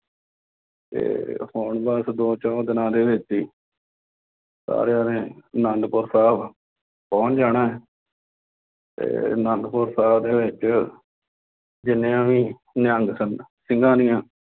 ਇਹ ਹੁਣ ਬੱਸ ਦੋ ਚਹੁੰ ਦਿਨਾਂ ਦੇ ਵਿੱਚ ਹੀ ਸਾਰਿਆਂ ਨੇ ਆਨੰਦਪੁਰ ਸਾਹਿਬ ਪਹੁੰਚ ਜਾਣਾ ਅਤੇ ਆਨੰਦਪੁਰ ਸਾਹਿਬ ਦੇ ਵਿੱਚ ਜਿੰਨਿਆਂ ਵੀ ਨਿਹੰਗ ਸਿੰਘ ਸਿੰਘਾਂ ਦੀ